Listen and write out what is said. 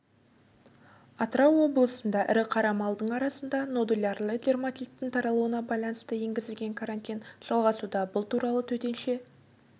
атырау облысында ірі қара малдың арасында нодулярлы дерматиттің тарауына байланысты енгізілген карантин жалғасуда бұл туралы төтенше